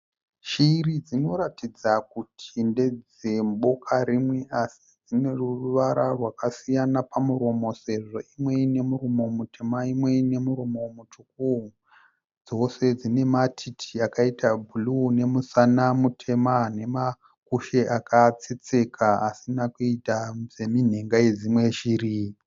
Shiri dzinoratidza kuti ndedzeboka rimwe asi dzine ruvara rwakasiyana pamuromo sezvo imwe ine muromo mutema imwe ine muromo mutsvuku. Dzose dzine matiti akaita bhuruu nemusana mutema nemakushe akatsetseka asina kuita seminhenga yedzimwe shiri.